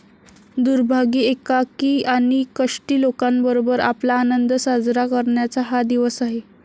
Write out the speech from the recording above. दुर्भागी, एकाकी आणि कष्टी लोकांबरोबर आपला आनंद साजरा करण्याचा हा दिवस आहे.